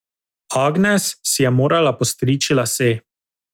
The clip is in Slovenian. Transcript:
Agnes si je morala postriči lase.